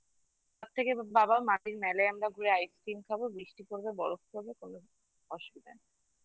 তার থেকে বাবা Mall এ আমরা ঘুরে ice cream খাবো বৃষ্টি পড়বে বরফ পড়বে কোনো অসুবিধা নেই